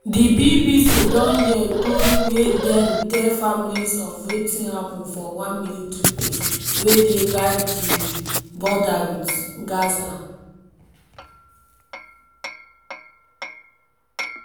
di bbc don hear tori wey dem tell families of wetin happun for one military base wey dey guard di border wit gaza.